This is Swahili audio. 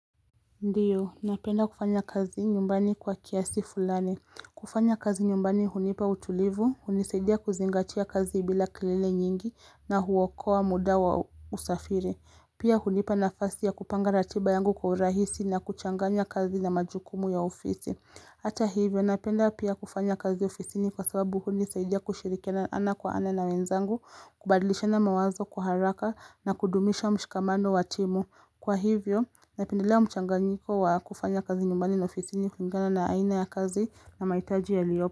Ndiyo, napenda kufanya kazi nyumbani kwa kiasi fulani. Kufanya kazi nyumbani hunipa utulivu, hunisaidia kuzingatia kazi bila kelele nyingi na huokoa muda wa usafiri. Pia hunipa nafasi ya kupanga ratiba yangu kwa urahisi na kuchanganya kazi na majukumu ya ofisi. Hata hivyo ninapenda pia kufanya kazi ofisini kwa sababu huni saidia kushirikiana ana kwa ana na wenzangu, kubadilishana mawazo kwaharaka na kudumisha mshikamano wa timu. Kwa hivyo ninapendelea mchangangiko wa kufanya kazi nyumbani na ofisini kulingana na aina ya kazi na mahitaji ya liyopo.